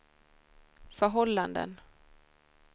förhållanden